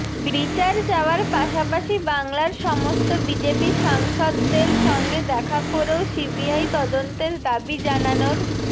বিচার চাওয়ার পাশাপাশি বাংলার সমস্ত বিজেপি সাংসদদের সঙ্গে দেখা করেও সিবিআই তদন্তের দাবি জানানোর